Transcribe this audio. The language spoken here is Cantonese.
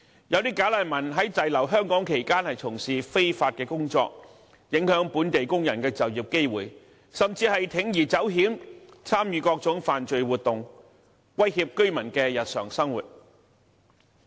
部分"假難民"在滯留香港期間從事非法工作，影響本地工人的就業機會，甚至鋌而走險，參與各種犯罪活動，威脅居民的日常生活。